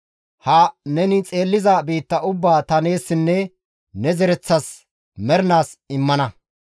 Hayssa neni xeelliza biitta ubbaa ta neessinne ne zereththas mernaas immana.